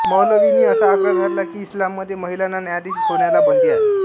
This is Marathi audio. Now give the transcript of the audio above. मौलवींनी असा आग्रह धरला की इस्लाममध्ये महिलांना न्यायाधीश होण्याला बंदी आहे